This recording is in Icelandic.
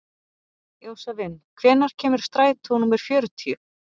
Jósavin, hvenær kemur strætó númer fjörutíu?